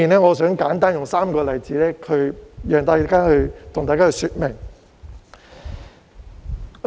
我想舉出3個簡單例子，向大家說明這兩點。